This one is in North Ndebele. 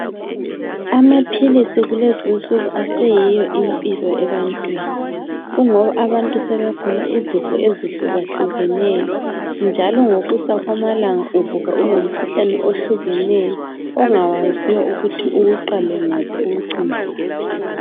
Amaphilisi kulezinsuku aseyiyo impilo ebantwini kungoba abantu sebegula izifo ezihluka hlukeneyo njalo ngokusa kwamalanga uvuka ulomkhuhlane ohlukeneyo ongawaziyo ukuthi uwuqale ngaphi uwucine ngaphi.